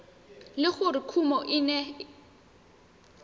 le gore kumo e ne